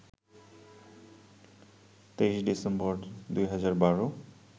২৩ December ২০১২